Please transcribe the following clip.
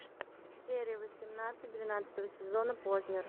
серия восемнадцать двенадцатого сезона познер